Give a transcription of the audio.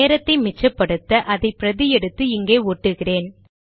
நேரத்தை மிச்சப்படுத்தஅதை பிரதி எடுத்து இங்கே ஒட்டுகிறேன்